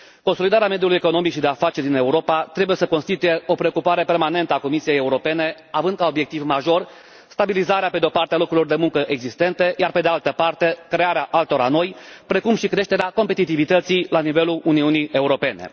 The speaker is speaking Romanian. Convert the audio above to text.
Consolidarea mediului economic și de afaceri din Europa trebuie să constituie o preocupare permanentă a Comisiei Europene, având ca obiectiv major pe de o parte stabilizarea locurilor de muncă existente iar, pe de altă parte, crearea altora noi, precum și creșterea competitivității la nivelul Uniunii Europene.